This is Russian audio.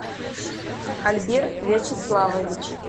альберт вячеславович